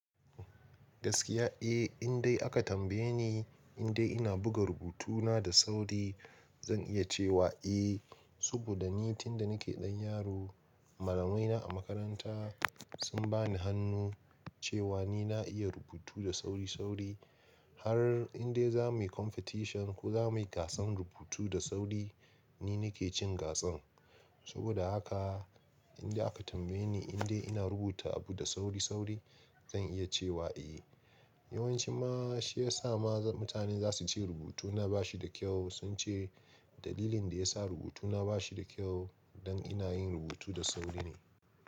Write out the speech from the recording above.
Gaskiya, eh, indai aka tambayeni indai ina buga rubutuna da sauri, zan iya cewa eh, saboda ni tun da nake ɗan yaro malamaina a makaranta sun bani hannu cewa ni na iya rubutu da sauri-sauri har indai za muyi competition ko za mu yi gasan rubutu da sauri, ni nake cin gasan. Saboda haka in dai aka tambaye ni in dai ina rubuta abu da sauri-sauri zan iya cewa eh. Yawanci ma shi yasa ma mutane zasu ce rubutuna ba shi da kyau sun ce dalilin daya sa rubutuna ba shi da kyau don ina yin rubutu da sauri ne.